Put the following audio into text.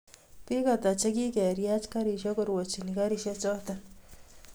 Bik Ata che kikeriach garisiek korwachini garisiechoto